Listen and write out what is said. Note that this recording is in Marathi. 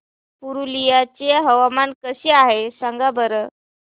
पुरुलिया चे हवामान कसे आहे सांगा बरं